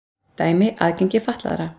Dæmi: aðgengi fatlaðra.